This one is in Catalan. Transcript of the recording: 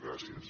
gràcies